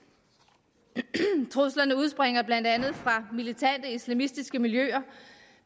truslerne udspringer blandt andet fra militante islamistiske miljøer